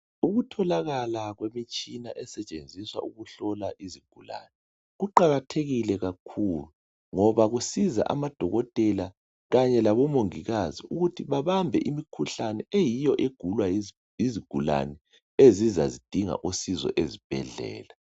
Ukutholakala kwemitshina esetshenziswa ukuhlola izigulane kuqakathekile kakhulu ngoba kunceda amadokotela kanye labomongikazi ukuthi babambe imikhuhlane eyiyo egulwa yizigulane ezibuya zidinga uncedo ezibhedlela.